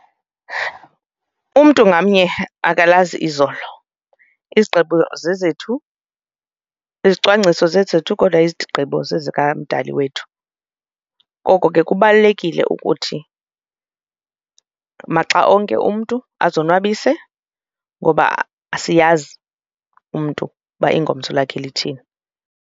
Umntu ngamnye akalazi izolo. Izigqibo zezethu, izicwangciso zezethu kodwa izigqibo zezikMdali wethu, koko ke kubalulekile ukuthi maxa onke umntu azonwabise ngoba asiyazi umntu uba ingomso lakhe lithini.